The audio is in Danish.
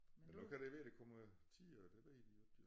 Men nu kan det være det kommer tiere det ved vi ikke jo